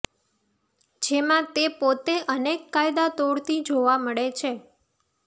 જેમાં તે પોતે અનેક કાયદા તોડતી જોવા મળે છે